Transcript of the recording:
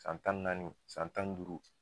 San tan ni naani, san tan ni duuru